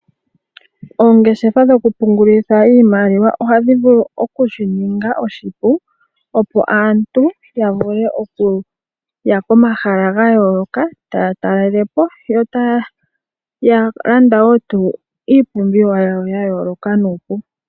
Oongeshefa dhoku pungulilitha iimaliwa ohadhi vulu oku shi ninga oshipu opo aantu ya vule okuya pomahala ga yooloka taya talele po, yo taya landa tuu iipumbiwa yawo ya yooloka nuupu.